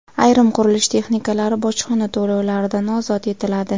Ayrim qurilish texnikalari bojxona to‘lovlaridan ozod etiladi.